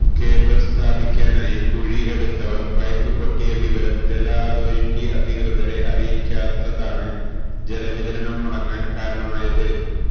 cable സ്ഥാപിക്കാനായി കുഴി എടുത്തവർ പൈപ്പ് പൊട്ടിയ വിവരം ജല അതോറിറ്റി അധികൃതരെ അറിയിക്കാത്തതാണ് ജലവിതരണം മുടങ്ങാൻ കാരണമായത്